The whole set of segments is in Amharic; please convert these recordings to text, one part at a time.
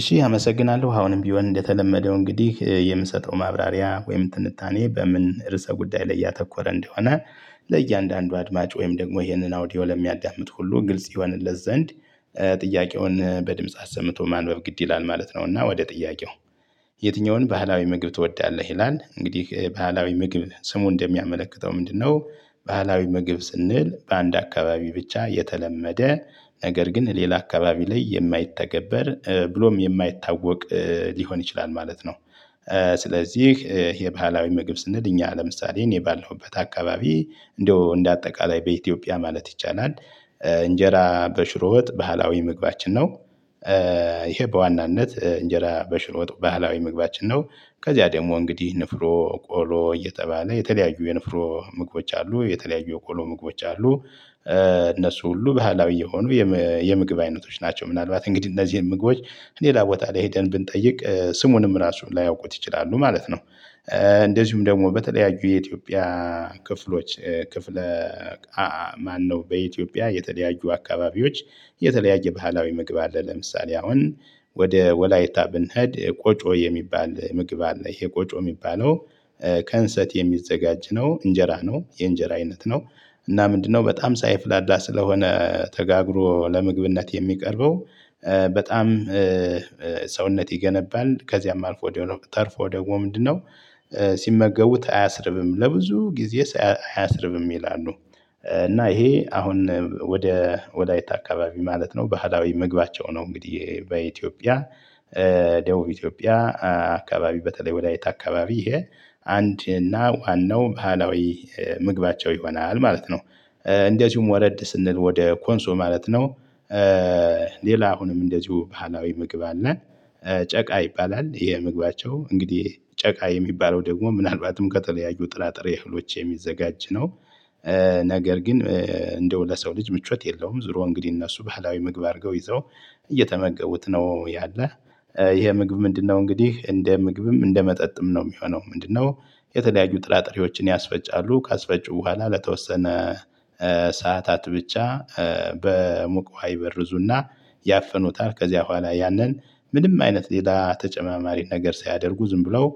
እሺ አመሰግናለሁ አሁንም ቢሆን እንደተለመደው እንግዲህ የምሰጠው ማብራሪያ ወይም ትንታኔ በምን ርዕሰ ጉዳይ ላይ ያተኮረ እንደሆነ ለእያንዳንዱ አድማጭ ወይም ደግሞ ይሄንን ኦውዲዮ ለሚያዳምጥ ሁሉ ግልጽ ይሆንለት ዘንድ ጥያቄውን በድምጽ አሰምቶ ማንበብ ግድ ይላል ማለት ነው። እና ወደ ጥያቄው ይ? የትኛውን ባህላዊ ምግብ ትወዳለህ ይላል እንግዲህ ባህላዊ ምግብ ስሙ እንደሚያመለክተው ምንድነው? ባህላዊ ምግብ ስንል በአንድ አካባቢ ብቻ የተለመደ ነገር ግን ሌላ አካባቢ ላይ የማይተገበር ብሎም የማይታወቅ ሊሆን ይችላል ማለት ነው። ስለዚህ ባህላዊ ምግብ ስንል እኛ ለምሳሌ እኔ ባለሁበት አካባቢ እንደው እንደ አጠቃላይ በኢትዮጵያ ማለት ይቻላል። እንጀራ በሽሮ ወጥ ባህላዊ ምግባችን ነው። ይህ በዋናነት እንጀራ በሽሮወጥ ባህላዊ ምግባችን ነው። ከዚያ ደግሞ እንግዲህ ገንፍሮ ቆሎ እየተባለ የተለያዩ የገንፍሮ ምግቦች አሉ የተለያዩ የቆሎ ምግቦች አሉ። እነሱ ሁሉ ባህላዊ የሆኑ የም የምግብ አይነቶች ናቸው። ምናልባት እንግዲህ እነዚህን ምግቦች ሌላ ቦታ ላይ ሄደን ብንጠይቅ ስሙንም ራሱ ላያውቁት ይችላሉ ማለት ነው። እንደዚሁም ደግሞ በተለያዩ የኢትዮጵያ ክፍሎች ክፍለ ሀ ማነው በኢትዮጵያ የተለያዩ አካባቢዎች የተለያየ ባህላዊ ምግብ አለ። ለምሳሌ አሁን ወደ ወላይታ ብንሄድ ቆጮ የሚባል ምግብ አለ። ይሄ ቆጮ የሚባለው ከእንሰት የሚዘጋጅ ነው እንጀራ ነው የእንጀራ አይነት ነው። እና ምንድነው በጣም ሳይፍላዳ ስለሆነ ተጋግሮ ለምግብነት የሚቀርበው። በጣም ሰውነት ይገነባል ከዚያም አልፎ ደ ተርፎ ደግሞ ምንድነው? ሰ ሲመገቡት አያስርብም ለብዙ ጊዜ አያስርብም ይላሉ። እና ይሄ አሁን ወደ ወለይት አካባቢ ማለት ነው ባህላዊ ምግባቸው ነው። እንግዲህ በኢትዮጵያ ደቡብ ኢትዮጵያ አካባቢ በተለይ ወለይታ አካባቢ ይሄ አ አንደኛ እና ዋናው ባህላዊ ምግባቸው ይሆናል ማለት ነው። እንደዚሁም ወረድ ስንል ወደ ኮንሶ ማለት ነው። ሌላ አሁንም እንደዚሁ ባህላዊ ምግብ አለን። ጨ ጨቃ ይባላል ይሄ ምግባቸው እንግዲህ ጨቃ የሚባለው ደግሞ ምናልባትም ከተለያዩ ጥራጥሬ እህሎች የሚዘጋጅ ነው። ነገር ግን እንደው ለሰው ልጅ ምቾት የለውም ዙሮ እንግዲህ እነሱ ባህላዊ ምግብ አርገው ይዘው እየተመገቡት ነው ያለው። ይሄ ምግብ ምንድነው እንግዲህ እንደ ምግብም እንደ መጠጥም ነው የሚሆነው ምንድነው? የተለያዩ ጥራጥሬዎችን ያስፈጫሉ ካስፈጩ በኋላ ለተወሰነ ሰዓታት ብቻ በሙቅ ውሃ ይበርዙና ያፍኑታል ከዚያ በኋላ ያንን ምንም አይነት ሌላ ተጨማሪ ነገር ሳያደርጉ ዝም ብለው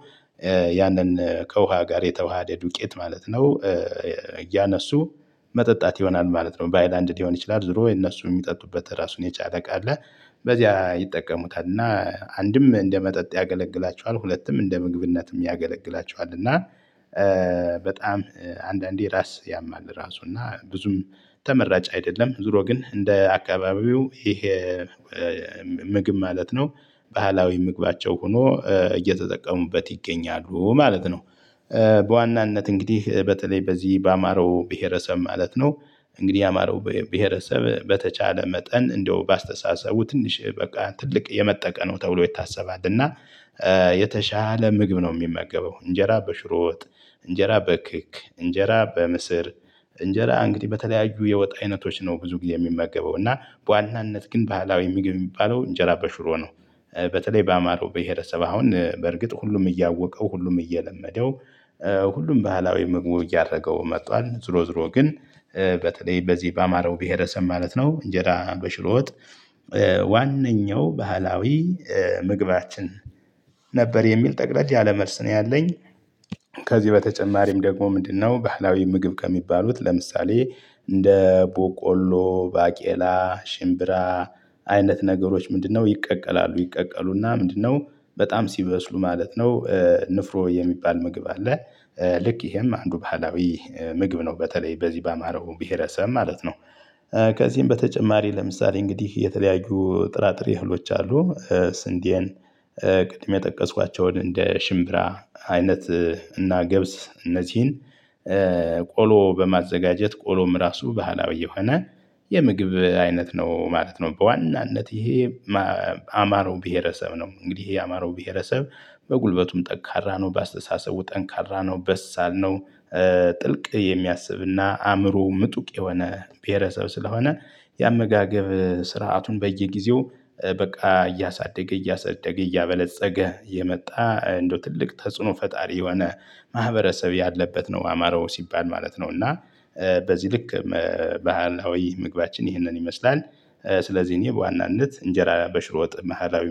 ያንን ከውሃ ጋር የተዋሃደ ዱቄት ማለት ነው። እያነሱ መጠጣት ይሆናል ማለት ነው። በሀይላንድ ሊሆን ይችላል ዝሮ የነሱ የሚጠጡበት ራሱን የቻለ እቃ አለ። በዚያ ይጠቀሙታል እና አንድም እንደ መጠጥ ያገለግላቸዋል ሁለትም እንደ ምግብነት ያገለግላቸዋል እና። በጣም አንዳንዴ ራስ ያማል ራሱ እና ብዙም ተመራጭ አይደለም። ዙሮ ግን እንደ አካባቢው ይሄ ምግብ ማለት ነው። ባህላዊ ምግባቸው ሆኖ እየተጠቀሙበት ይገኛሉ ማለት ነው። በዋናነት እንግዲህ በተለይ በዚህ አማረው ብሄረሰብ ማለት ነው። እንግዲህ የአማረው ብሄረሰብ በተቻለ መጠን እንደው በአስተሳሰቡ ትንሽ በቃ ትልቅ የመጠቀ ነው ተብሎ ይታሰባል። እና የተሻለ ምግብ ነው የሚመገበው እንጀራ በሽሮወጥ እንጀራ በክክ እንጀራ በምስር እንጀራ እንግዲህ በተለያዩ የወጥ አይነቶች ነው ብዙ ጊዜ የሚመገበው እና በዋናነት ግን ባህላዊ ምግብ የሚባለው እንጀራ በሸሮ ነው። በተለይ በአማረው ብሄረሰብ አሁን በእርግጥ ሁሉም እያወቀው ሁሉም እየለመደው ሁሉም ባህላዊ ምግቡ እያደረገው መጥቷል። ዞሮ ዞሮ ግን በተለይ በዚህ በአማረው ብሄረሰብ ማለት ነው እንጀራ በሽሮ ወጥ ዋነኛው ባህላዊ ምግባችን ነበር የሚል ጠቅለል ያለ መልስ ነው ያለኝ። ከዚህ በተጨማሪም ደግሞ ምንድነው ባህላዊ ምግብ ከሚባሉት ለምሳሌ እንደ በቆሎ ባቄላ ሽምብራ አይነት ነገሮች ምንድነው ይቀቀላሉ ይቀቀሉና ምንድነው በጣም ሲበስሉ ማለት ነው። ንፍሮ የሚባል ምግብ አለ። ልክ ይሄም አንዱ ባህላዊ ምግብ ነው በተለይ በዚህ በአማረው ብሄረሰብ ማለት ነው። ከዚህም በተጨማሪ ለምሳሌ እንግዲህ የተለያዩ ጥራጥሬ እህሎች አሉ። ስንዴን ቅድም የጠቀስኳቸውን እንደ ሽምብራ አይነት እና ገብስ እነዚህን ቆሎ በማዘጋጀት ቆሎም ራሱ ባህላዊ የሆነ የምግብ አይነት ነው ማለት ነው። በዋናነት ይሄ ማ አማረው ብሄረሰብ ነው እንግዲህ የአማረው ብሄረሰብ በጉልበቱም ጠንካራ ነው በአስተሳሰቡ ጠንካራ ነው በሳል ነው። ጥልቅ የሚያስብ እና አእምሮው ምጡቅ የሆነ ብሄረሰብ ስለሆነ የአመጋገብ ስርዓቱን በየጊዜው በቃ እያሳደገ እያሳደገ እያበለፀገ የመጣ እንደው ትልቅ ተጽዕኖ ፈጣሪ የሆነ ማህበረሰብ ያለበት ነው። አማራ ሲባል ማለት ነው። እና በዚህ ልክ መ ባህላዊ ምግባችን ይህንን ይመስላል። ስለዚህ እኔ በዋናነት እንጀራ በሽሮወጥ ባህላዊ